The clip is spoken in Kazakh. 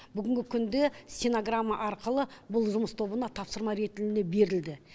бүгінгі күнді синограмма арқылы бұл жұмыс тобына тапсырма ретінде берілді